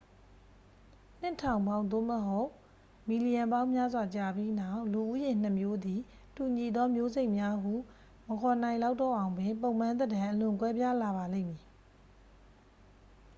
နှစ်ထောင်ပေါင်း သို့မဟုတ် မီလီယံပေါင်းများစွာကြာပြီးနောက် လူဦးရေနှစ်မျိုးသည် တူညီသောမျိုးစိတ်များဟု မခေါ်နိုင်လောက်တော့အောင်ပင် ပုံပန်းသဏ္ဍာန် အလွန်ကွဲပြားလာပါလိမ့်မည်